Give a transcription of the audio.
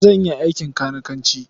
Zan iya aikin kanikanci.